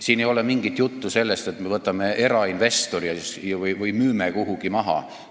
Siin ei ole mingit juttu sellest, et me võtame erainvestori või müüme midagi kuhugi maha.